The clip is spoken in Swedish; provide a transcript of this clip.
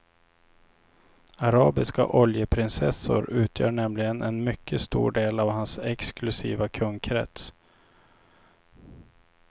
Arabiska oljeprinsessor utgör nämligen en mycket stor del av hans exklusiva kundkrets.